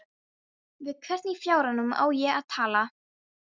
Við hvern í fjáranum á ég að tala?